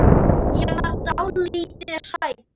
Ég verð dálítið hrædd.